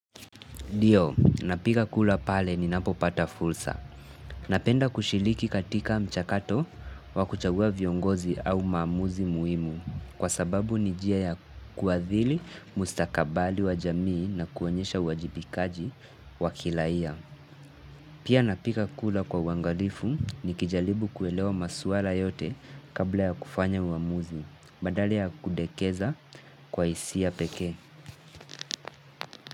Dio, napika kula pale ni napo pata fulsa. Napenda kushiliki katika mchakato wa kuchagua viongozi au maamuzi muimu. Kwa sababu ni jia ya kuadhili mustakabali wa jamii na kuonyesha uwajibikaji wa kilaia. Pia napika kula kwa uwangalifu ni kijalibu kuelewa masuara yote kabla ya kufanya uamuzi, badala ya kudekeza kwa isia pekee.